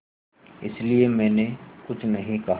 इसलिए मैंने कुछ नहीं कहा